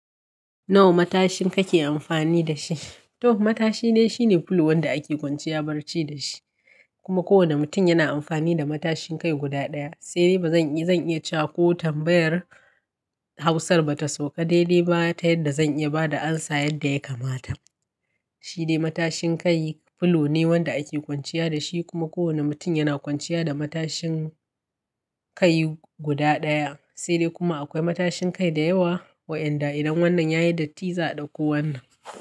Nawa matashin kake amfani da shi? To matashi ne, shine fulo wanda ake kwanciya barci da shi. Kuma kowane mutum yana amfani da matashin kai guda ɗaya. Sai dai ba zan iya, zan iya cewa ko tambayar Hausar ba ta sauƙa dai dai ba ta yadda zan iya ba da amsa yadda ya kamata. Shi dai matashin kai fulo ne wanda ake kwanciya da shi. Kuma kowane mutum yana kwanciya da matashin kai guda ɗaya. Sai dai kuma akwai matashin kai da yawa waɗanda idan wannan yayi datti za a ɗauko wannan.